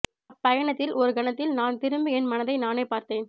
அப்பயணத்தில் ஒரு கணத்தில் நான் திரும்பி என் மனதை நானே பார்த்தேன்